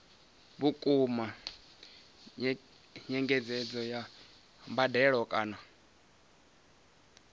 vhukuma nyengedzedzo ya mbadelo kana